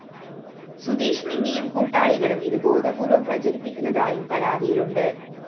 സുധീഷ് മിന്നിയും കൂട്ടാളികളും ഇത് ബോധപൂര്‍വ്വം പ്രചരിപ്പിക്കുന്നതായും പരാതിയിലുണ്ട്